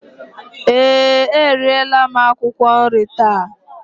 Ee, eriela m akwụkwọ nri taa